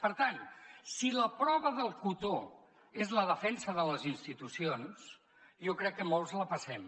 per tant si la prova del cotó és la defensa de les institucions jo crec que molts la passem